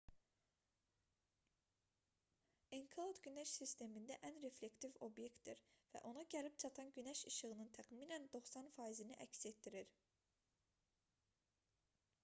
enkelad günəş sistemində ən reflektiv obyektdir və ona gəlib çatan günəş işığının təxminən 90 faizini əks etdirir